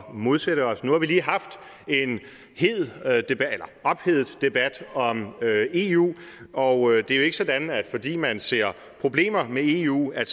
modsætte os nu har vi lige haft en ophedet debat om eu og det er jo ikke sådan at fordi man ser problemer med eu er